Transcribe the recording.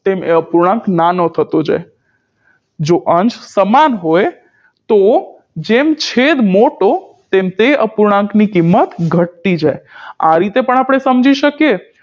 તેમ એ અપૂર્ણાંક નાનો થતો જાય જો અંશ સમાન હોય તો જેમ છેદ મોટો તેમ તે અપૂર્ણાંક ની કિમત ઘટતી જાય આ રીતે પણ આપણે સમજી શકીએ